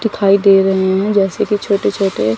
दिखाई दे रहे हैं जैसे कि छोटे छोटे--